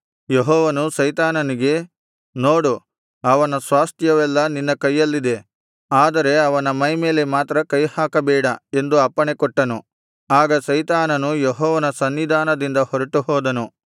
ಯೆಹೋವನು ಸೈತಾನನಿಗೆ ನೋಡು ಅವನ ಸ್ವಾಸ್ತ್ಯವೆಲ್ಲಾ ನಿನ್ನ ಕೈಯಲ್ಲಿದೆ ಆದರೆ ಅವನ ಮೈಮೇಲೆ ಮಾತ್ರ ಕೈಹಾಕಬೇಡ ಎಂದು ಅಪ್ಪಣೆಕೊಟ್ಟನು ಆಗ ಸೈತಾನನು ಯೆಹೋವನ ಸನ್ನಿಧಾನದಿಂದ ಹೊರಟುಹೋದನು